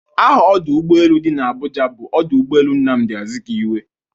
Aha ọdụ ụgbọelu dị n'Abuja bụ ọdụ ụgbọelu Nnamdi Azikwe